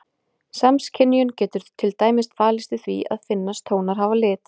Samskynjun getur til dæmis falist í því að finnast tónar hafa lit.